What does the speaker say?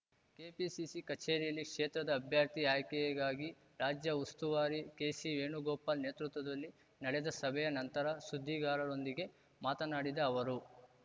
KPCC ಕಚೇರಿಯಲ್ಲಿ ಕ್ಷೇತ್ರದ ಅಭ್ಯರ್ಥಿ ಆಯ್ಕೆಗಾಗಿ ರಾಜ್ಯ ಉಸ್ತುವಾರಿ ಕೆಸಿ ವೇಣುಗೋಪಾಲ್‌ ನೇತೃತ್ವದಲ್ಲಿ ನಡೆದ ಸಭೆಯ ನಂತರ ಸುದ್ದಿಗಾರರೊಂದಿಗೆ ಮಾತನಾಡಿದ ಅವರು